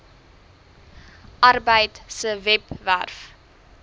arbeid se webwerf